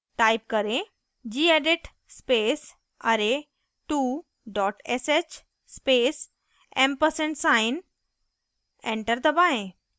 type करें: gedit space array2 sh space & ampersand sign enter दबाएं